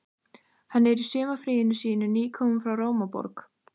Hann er í sumarfríinu sínu, nýkominn frá Rómaborg.